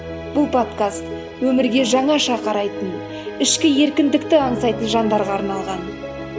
бұл подкаст өмірге жаңаша қарайтын ішкі еркіндікті аңсайтын жандарға арналған